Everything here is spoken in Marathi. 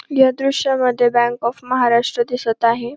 या दृश्यामध्ये बँक ऑफ महाराष्ट्र दिसत आहे.